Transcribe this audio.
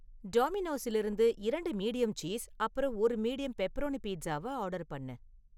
டாமினோஸிலிருந்து இரண்டு medium cheese அப்புறம் ஒரு மீடியம் பெப்பரோனி பீட்சாவ ஆர்டர் பண்ணு